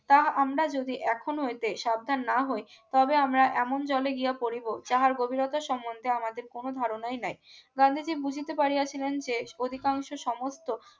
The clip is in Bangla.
তাহা আমরা যদি এখন হইতে সাবধান না হই কবে আমরা এমন জলে গিয়া পড়িব যাহার গভীরতা সম্বন্ধে আমাদের কোন ধারনাই নাই গান্ধীজী বুঝিতে পারিয়াছিলেন দেশ অধিকাংশ সমস্ত